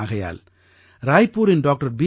ஆகையால் ராய்பூரின் doctor B